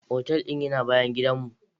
Otal din yana bayan gidan mu.